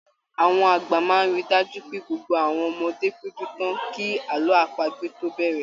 Àwọn àgbà máa ríi dájú pé gbogbo àwọn ọmọdé péjú tán kí àlọ́ àpagbè tó bẹ̀rẹ̀.